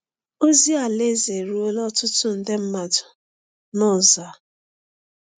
Ozi Alaeze eruola ọtụtụ nde mmadụ n’ụzọ a.